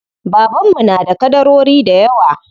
Baban mu na da ƙadarori dayawa.